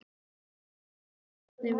Elírós, hvernig er veðurspáin?